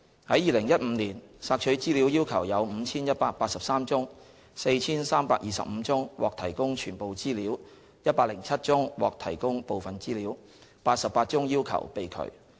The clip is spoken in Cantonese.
在2015年，索取資料要求有 5,183 宗 ，4,325 宗獲提供全部資料 ，107 宗獲提供部分資料 ，88 宗要求被拒。